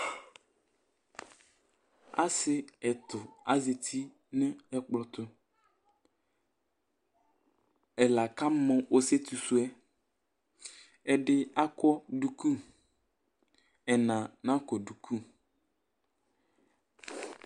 Asi ɛtu azɛti ŋu ɛkplɔ tu Ɛla kamɔ ɔsiɛtu sʋɛ Ɛɖì akɔ ɖʋku Ɛna nakɔ ɖʋku